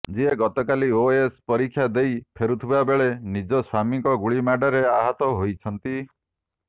ଯିଏ ଗତକାଲି ଓଏଏସ ପରୀକ୍ଷା ଦେଇ ଫେରୁଥିବା ବେଳେ ନିଜ ସ୍ୱାମୀଙ୍କ ଗୁଳିମାଡରେ ଆହତ ହୋଇଛନ୍ତି